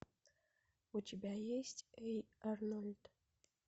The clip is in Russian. у тебя есть эй арнольд